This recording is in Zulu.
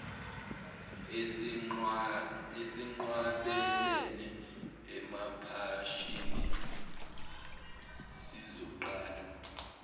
esinqwabelene emaphashini sizoqala